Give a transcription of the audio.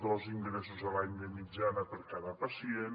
dos ingressos a l’any de mitjana per cada pacient